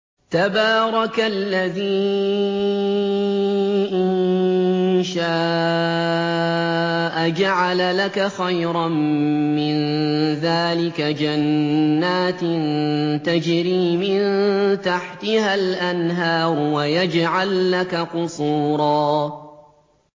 تَبَارَكَ الَّذِي إِن شَاءَ جَعَلَ لَكَ خَيْرًا مِّن ذَٰلِكَ جَنَّاتٍ تَجْرِي مِن تَحْتِهَا الْأَنْهَارُ وَيَجْعَل لَّكَ قُصُورًا